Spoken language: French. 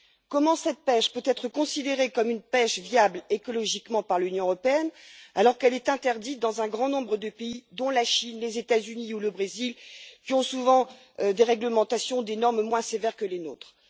Comment cette pêche peut elle être considérée comme une pêche viable écologiquement par l'Union européenne, alors qu'elle est interdite dans un grand nombre de pays dont la Chine, les États Unis ou le Brésil, qui ont souvent des réglementations et des normes moins sévères que les nôtres?